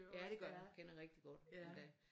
Ja det gør jeg kender rigtig godt endda